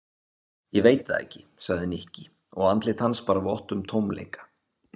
Ég veit það ekki sagði Nikki og andlit hans bar vott um tómleika.